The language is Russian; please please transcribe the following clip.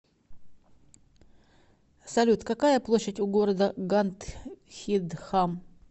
салют какая площадь у города гандхидхам